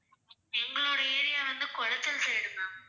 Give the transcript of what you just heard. எங்களுடைய area வந்து Kulachal side ma'am